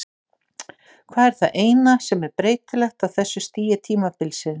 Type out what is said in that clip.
Hvað er það eina sem er breytilegt á þessu stigi tímabilsins?